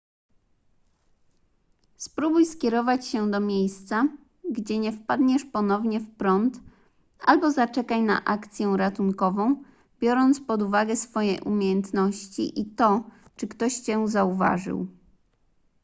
spróbuj skierować się do miejsca gdzie nie wpadniesz ponownie w prąd albo zaczekaj na akcję ratunkową biorąc pod uwagę swoje umiejętności i to czy ktoś cię zauważył